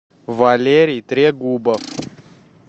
валерий трегубов